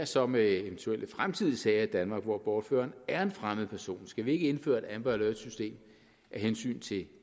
så med eventuelle fremtidige sager i danmark hvor bortføreren er en fremmed person skal vi ikke indføre et amber alert system af hensyn til